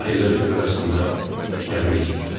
Sahillə üfüq arasında gəmi üzürdü.